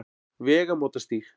Vegamótastíg